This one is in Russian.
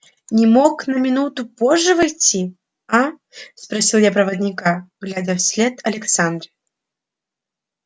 не мог на минуту позже войти а спросил я проводника глядя вслед александре